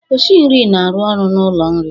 Oshị nri na-arụ ọrụ n'ụlọ nri